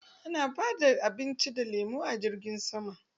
Ana ba da abinci ko lemo a jirgin sama.